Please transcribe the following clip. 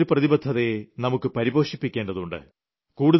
ഈ ഒരു പ്രതിബദ്ധതയെ നമുക്ക് പരിപോഷിപ്പിക്കേണ്ടതുണ്ട്